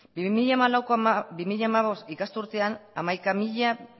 bi mila hamalau bi mila hamabost ikasturtean hamaika mila